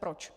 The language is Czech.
Proč?